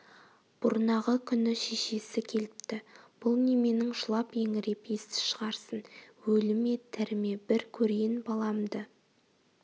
бұрнағы күні шешесі келіпті бұл неменің жылап-еңіреп есті шығарсын өлі ме тірі ме бір көрейін баламды